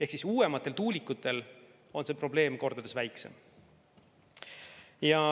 Ehk uuematel tuulikutel on see probleem kordades väiksem.